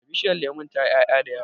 Bishiyar lemun tayi 'ya'ya da yawa.